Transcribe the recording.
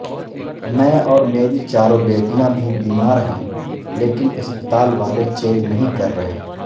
میں اور میری چاروں بیٹیاں بھی بیمار ہیںلیکن اسپتال والے چیک نہیں کررہے